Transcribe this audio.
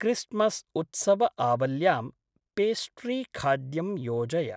क्रिस्ट्मस्‌उत्सवआवल्यां पेस्ट्रीखाद्यं योजय